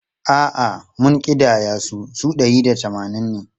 A’a, mun ƙidaya su, su ɗari da tamanin ne.